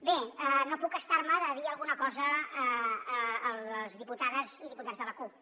bé no puc estar me de dir alguna cosa a les diputades i diputats de la cup